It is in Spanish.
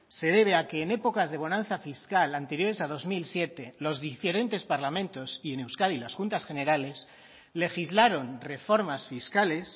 se debe a que en épocas de bonanza fiscal anteriores a dos mil siete los diferentes parlamentos y en euskadi las juntas generales legislaron reformas fiscales